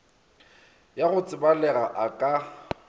ya go tsebalega a ka